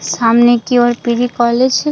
सामने की ओर पीजी कॉलेज --